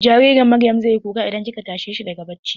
Jaririn Maryam zai yi kuka idan kika tashe shi daga bacci.